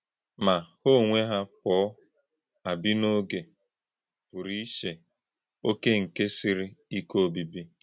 Mà, hà ònwè̄ hà̄ pọ̄ à bì̄ ‘n’ògé̄ pụ̀rù̄ ìchè̄ ọ̀ké̄ nke sịrì̄ ìké̄ òbíbí̄.’